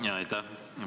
Aitäh!